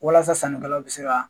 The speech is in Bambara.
Walasa sannikɛlaw bɛ se ka